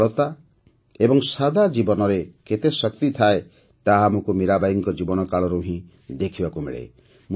ସରଳତା ଏବଂ ସାଧା ଜୀବନରେ କେତେ ଶକ୍ତି ଥାଏ ତାହା ଆମକୁ ମୀରାବାଈଙ୍କ ଜୀବନକାଳରୁ ହିଁ ଦେଖିବାକୁ ମିଳେ